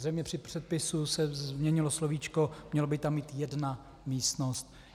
Zřejmě při přepisu se změnilo slovíčko, mělo by tam být jedna místnost.